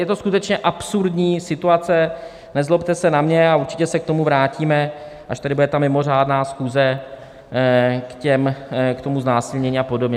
Je to skutečně absurdní situace, nezlobte se na mě, a určitě se k tomu vrátíme, až tady bude ta mimořádná schůze k tomu znásilnění a podobně.